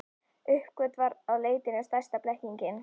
Uppgötvar að leitin er stærsta blekkingin.